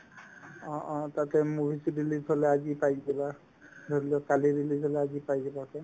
অ অ তাতে movie তো release হ'লে আজিয়ে পাই যাবা ধৰিলোৱা কালি release হ'লে আজিয়ে পাই যাবা আকৌ